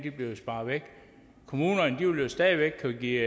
bliver sparet væk kommunerne vil jo stadig væk kunne give